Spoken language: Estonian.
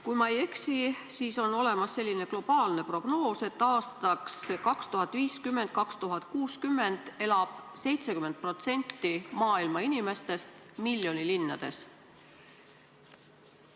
Kui ma ei eksi, siis on olemas selline globaalne prognoos, et aastaks 2050 või 2060 elab 70% maailma inimestest miljonilinnades.